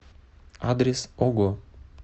адрес ого